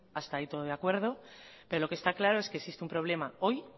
hasta ahí todo de acuerdo pero lo que está claro es que existe un problema hoy